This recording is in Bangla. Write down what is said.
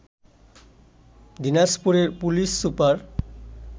দিনাজপুরের পুলিশ সুপার